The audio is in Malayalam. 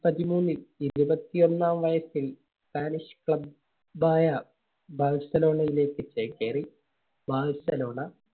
ത്തി പതിമൂന്നിൽ ഇരുപത്തിയൊന്നാം വയസ്സിൽ Spanish Club ആയ ബാഴ്സലോണയിലേക്ക് ചേക്കേറി. ബാഴ്സലോണ